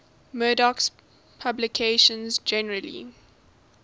murdoch's publications generally